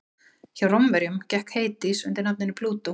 hjá rómverjum gekk hades undir nafninu plútó